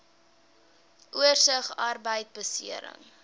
oorsig arbeidbeserings